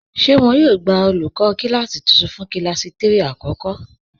Ṣé wọn yóò gbà olùkọ kílásí tuntun fún kílásí 3 àkọ́kọ́?